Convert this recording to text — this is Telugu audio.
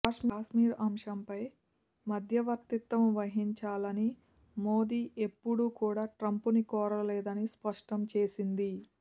కాశ్మీర్ అంశంపై మధ్యవర్తిత్వం వహించాలని మోదీ ఎప్పుడు కూడా ట్రంప్ను కోరలేదని స్పష్టం చేసింది